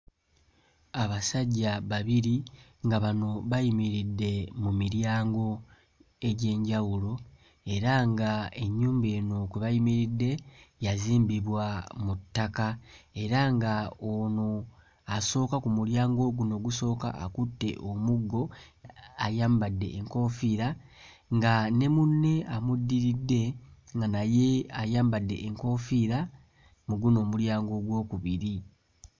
Abasajja babiri nga bano bayimiridde mu miryango egy'enjawulo era nga ennyumba eno kwe bayimiridde yazimbibwa mu ttaka era nga ono asooka ku mulyango guno ogusooka akutte omuggo ayambadde enkoofiira nga ne munne amuddiridde naye ayambadde enkoofiira mu guno omulyango ogwokubiri.